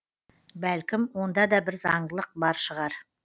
бәлкім онда да бір заңдылық бар шығар